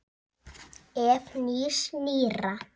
Ef. nýs- nýrra